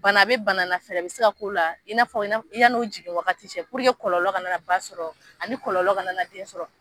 Bana a be bana la fɛrɛ be se ka la k'o la yan'o jigin wagati cɛ puruke kɔlɔlɔ ka na na ba sɔrɔ ani kɔlɔlɔ kana na den sɔrɔ